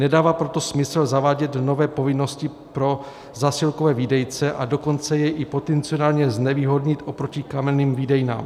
Nedává proto smysl zavádět nové povinnosti pro zásilkové výdejce, a dokonce je i potenciálně znevýhodnit oproti kamenným výdejnám.